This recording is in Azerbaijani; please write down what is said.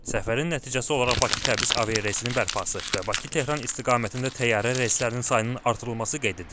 Səfərin nəticəsi olaraq Bakı-Təbriz aviareysinin bərpası və Bakı-Tehran istiqamətində təyyarə reyslərinin sayının artırılması qeyd edilib.